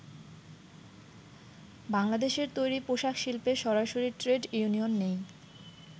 বাংলাদেশের তৈরি পোশাক শিল্পে সরাসরি ট্রেড ইউনিয়ন নেই।